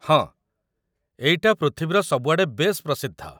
ହଁ, ଏଇଟା ପୃଥିବୀର ସବୁଆଡ଼େ ବେଶ୍ ପ୍ରସିଦ୍ଧ ।